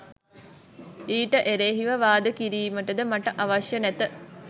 ඊට එරෙහිව වාද කිරීමටද මට අවශ්‍ය නැත